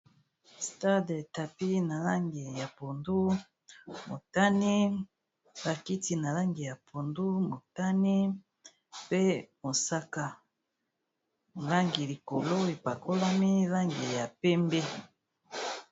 Stade tapi na langi ya pondu motani bakiti na langi ya pondu motani pe mosaka langi likolo epakolami langi ya pembe